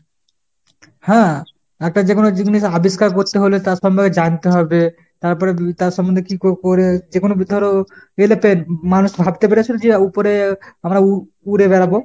হ্যাঁ একটা যে কোনো জিনিস আবিষ্কার করতে হলে তার সম্পর্কে জানতে হবে। তারপর তার সম্বন্ধে কী করে যেকোনো ধরো aeroplane। মানুষ ভাবতে পেরেছিলো যে উপরে আমরা উড়ে বেড়াবো !